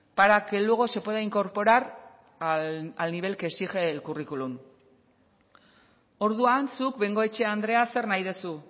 para que luego se pueda incorporar al nivel que exige el currículum orduan zuk bengoechea andrea zer nahi duzu